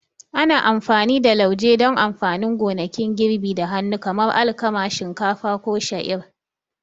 Ana amfani da lauje don amfanin gonakin girbi da hannu kamar alkama, shinkafa, ko sha'ir.